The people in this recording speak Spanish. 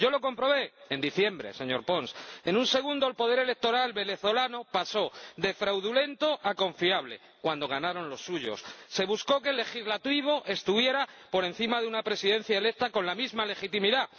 Yo lo comprobé en diciembre, señor Pons. En un segundo, el poder electoral venezolano pasó de fraudulento a confiable cuando ganaron los suyos. Se buscó que el legislativo estuviera por encima de una presidencia electa con la misma legitimidad.